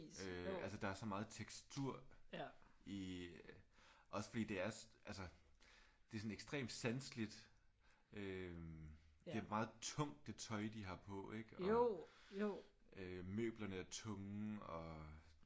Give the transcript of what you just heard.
Øh altså der er så meget tekstur i øh også fordi det er altså det er sådan ekstremt sanseligt. Øh det er meget tungt det tøj de har på ik? Og øh møblerne er tunge og